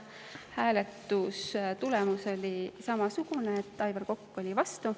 Hääletustulemus oli samasugune, et Aivar Kokk oli vastu.